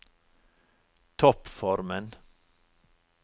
toppformen